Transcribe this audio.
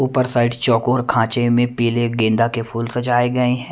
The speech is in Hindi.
ऊपर साइड चौकोर खांचे में पीले गेंदा के फूल सजाए गए हैं।